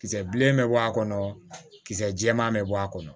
Kisɛ bilenman bɛ bɔ a kɔnɔ kisɛ jɛman bɛ bɔ a kɔnɔ